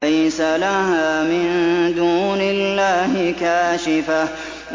لَيْسَ لَهَا مِن دُونِ اللَّهِ كَاشِفَةٌ